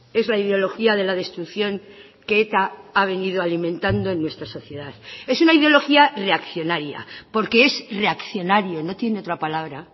es la ideología de la destrucción que eta ha venido alimentando en nuestra sociedad es una ideología reaccionaria porque es reaccionario no tiene otra palabra